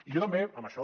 i jo també en això